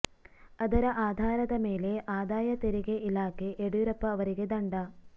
ಅದರ ಆಧಾರದ ಮೇಲೆ ಆದಾಯ ತೆರಿಗೆ ಇಲಾಖೆ ಯಡಿಯೂರಪ್ಪ ಅವರಿಗೆ ದಂಡ